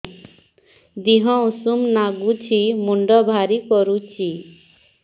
ଦିହ ଉଷୁମ ନାଗୁଚି ମୁଣ୍ଡ ଭାରି କରୁଚି